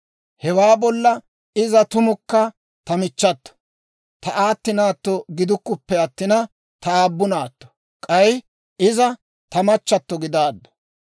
Hewaa bolla iza tumukka ta michchato; ta aati naatto gidukkuppe attin, ta aabbu naatto; k'ay iza ta machchatto gidaaddu.